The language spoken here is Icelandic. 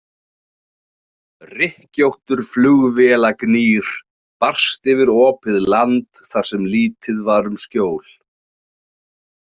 Rykkjóttur flugvélagnýr barst yfir opið land þar sem lítið var um skjól.